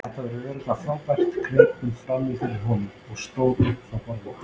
Þetta verður örugglega frábært greip hún fram í fyrir honum og stóð upp frá borðinu.